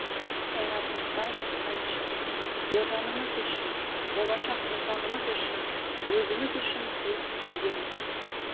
қайрат нұртас әнші отанымыз үшін болашақ ұрпағымыз үшін өзіміз үшін біз үйдеміз